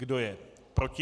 Kdo je proti?